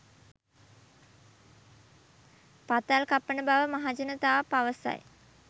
පතල් කපන බව මහජනතාව පවසති